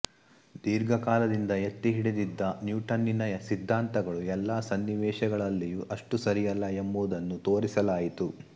ದೀರ್ಘಕಾಲದಿಂದ ಎತ್ತಿಹಿಡಿದಿದ್ದ ನ್ಯೂಟನ್ನನ ಸಿದ್ಧಾಂತಗಳು ಎಲ್ಲ ಸನ್ನಿವೇಶಗಳಲ್ಲಿಯೂ ಅಷ್ಟು ಸರಿಯಲ್ಲ ಎಂಬುದನ್ನು ತೋರಿಸಲಾಯಿತು